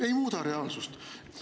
Ei muuda reaalsust!